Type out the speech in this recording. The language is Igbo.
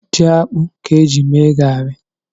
Ji akpụ ka e ji mee gari.